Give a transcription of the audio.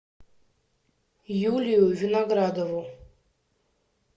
юлию виноградову